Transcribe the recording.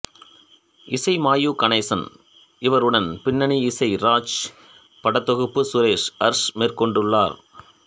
இசை மாயு கணேசன் இவருடன் பின்னணி இசை ராஜ் படத்தொகுப்பு சுரேஷ் அர்ஸ் மேற்கொண்டுள்ளனர்